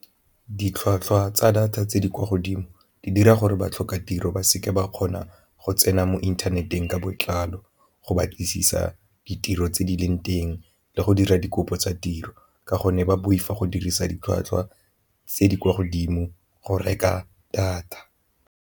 Ditlhwatlhwa tsa data tse di kwa godimo di dira gore ba tlhoka tiro ba seka ba kgona go tsena mo inthaneteng ka botlalo, go batlisisa ditiro tse di leng teng le go dira dikopo tsa tiro ka gonne ba boifa go dirisa ditlhwatlhwa tse di kwa godimo go reka data.